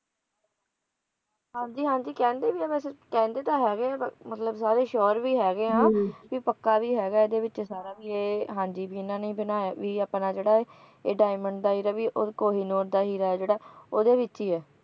ਹਾਂ ਜੀ ਹਾਂ ਜੀ ਕਹਿੰਦੇ ਵੀ ਹੈ ਵੈਸੇ ਕਹਿੰਦੇ ਵੀ ਹੈਗੇ ਆ ਸਾਰੇ ਪਰ ਮਤਲਬ ਸਾਰੇ sure ਵੀ ਹੈਗੇ ਹਾਂ ਵੀ ਪੱਕਾ ਵੀ ਹੈਗਾ ਇਹਦੇ ਵਿਚ ਸਾਰਾ ਕੁਝ ਵੀ ਇਹ ਵੀ ਹਾਂਜੀ ਇਨ੍ਹਾਂ ਨੇ ਹੀ ਬਣਾਇਆ ਹੈ ਵੀ ਆਪਣਾ ਜਿਹੜਾ ਹੈ ਡਾਇਮੰਡ ਦਾ ਹੀ ਰਹੇ ਔਰ ਕੋਹਿਨੂਰ ਦਾ ਹੀਰਾ ਓਹਦੇ ਵਿਚ ਹੀ ਹੈ